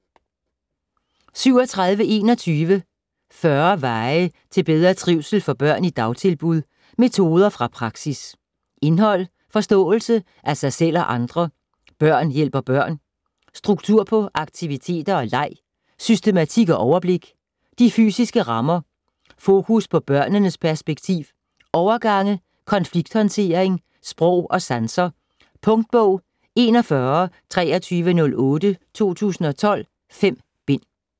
37.21 40 veje til bedre trivsel for børn i dagtilbud: metoder fra praksis Indhold: Forståelse af sig selv og andre ; Børn hjælper børn ; Struktur på aktiviteter og leg ; Systematik og overblik ; De fysiske rammer ; Fokus på børnenes perspektiv ; Overgange ; Konflikthåndtering ; Sprog og sanser. Punktbog 412308 2012. 5 bind.